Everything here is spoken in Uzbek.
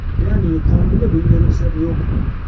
Ya’ni qonunda bunga ruxsat yo‘q.